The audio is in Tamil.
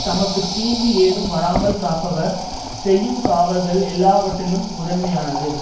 தமக்கு தீங்கு ஏதும் வராமல் காப்பவர் செய்யும் காவல்கள் எல்லாவற்றிலும் முதன்மையானது